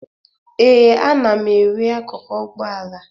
Ee, ana m ere akụkụ ụgbọala